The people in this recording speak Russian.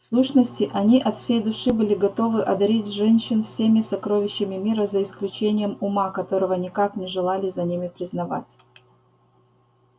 в сущности они от всей души были готовы одарить женщин всеми сокровищами мира за исключением ума которого никак не желали за ними признавать